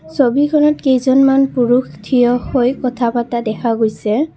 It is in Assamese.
ছবিখনত কেইজনমান পুৰুষ থিয় হৈ কথা পাতা দেখা গৈছে।